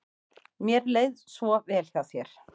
Mér leið svo vel hjá þér.